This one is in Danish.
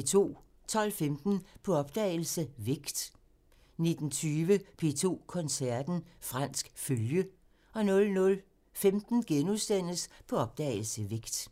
12:15: På opdagelse – Vægt 19:20: P2 Koncerten – Fransk følge 00:15: På opdagelse – Vægt *